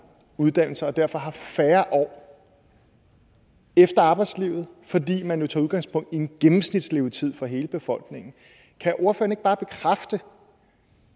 uddannelser derfor har færre år efter arbejdslivet fordi man jo tager udgangspunkt i en gennemsnitslevetid for hele befolkningen kan ordføreren ikke bare bekræfte